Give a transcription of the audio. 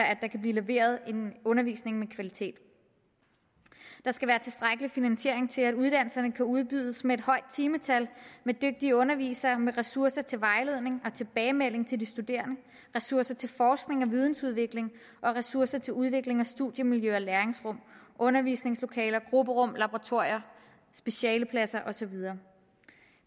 at der kan blive leveret en undervisning af god kvalitet der skal være tilstrækkelig finansiering til at uddannelserne kan udbydes med et højt timetal med dygtige undervisere og med ressourcer til vejledning og tilbagemelding til de studerende ressourcer til forskning og vidensudvikling og ressourcer til udvikling studiemiljø læringsrum undervisningslokaler grupperum laboratorier specialepladser og så videre